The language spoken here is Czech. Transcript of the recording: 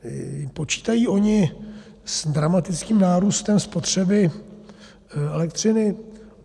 Počítají oni s dramatickým nárůstem spotřeby elektřiny?